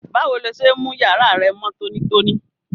Báwo lo se n mú yàrá rẹ mó tónítóní?